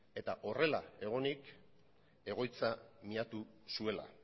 eta horrela egonik egoitza miatu zuela